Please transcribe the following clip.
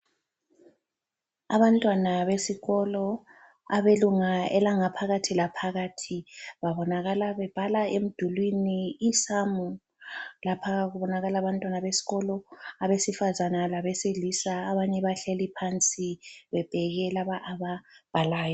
Abantwana besikolo abelunga elangaphakathi laphakathi babonakala bebhala emdulwini isamu , lapha kubonakala abantwana beskolo abesifazana labesilisa abanye bahleli phansi bebheke laba ababhalayo.